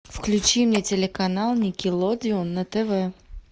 включи мне телеканал никелодеон на тв